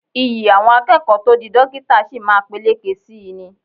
Iyì àwọn akẹ́kọ̀ọ́ tó di dókítà sí máa peléke sí í ni